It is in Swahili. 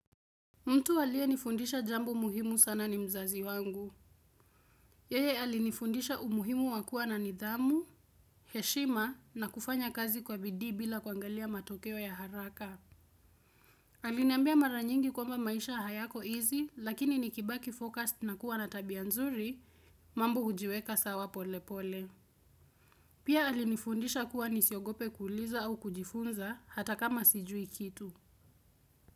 Mtu aliyenifundisha jambo muhimu sana ni mzazi wangu. Yeye alinifundisha umuhimu wa kuwa na nidhamu, heshima na kufanya kazi kwa bidii bila kuangalia matokeo ya haraka. Aliniambia mara nyingi kwamba maisha hayako easy, lakini nikibaki focused na kuwa na tabia nzuri, mambo hujiweka sawa pole pole. Pia alinifundisha kuwa nisiogope kuuliza au kujifunza, hata kama sijui kitu.